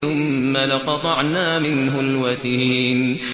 ثُمَّ لَقَطَعْنَا مِنْهُ الْوَتِينَ